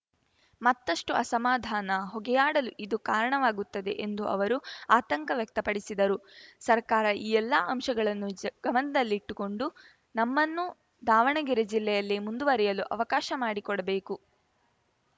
ಮತ್ತಷ್ಟುಅಸಮಾಧಾನ ಹೊಗೆಯಾಡಲು ಇದು ಕಾರಣವಾಗುತ್ತದೆ ಎಂದು ಅವರು ಆತಂಕ ವ್ಯಕ್ತಪಡಿಸಿದರು ಸರ್ಕಾರ ಈ ಎಲ್ಲಾ ಅಂಶಗಳನ್ನು ಜ ಗಮನದಲ್ಲಿಟ್ಟುಕೊಂಡು ನಮ್ಮನ್ನು ದಾವಣಗೆರೆ ಜಿಲ್ಲೆಯಲ್ಲೇ ಮುಂದುವರಿಯಲು ಅವಕಾಶ ಮಾಡಿಕೊಡಬೇಕು